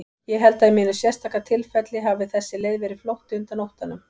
Ég held að í mínu sérstaka tilfelli hafi þessi leið verið flótti undan óttanum.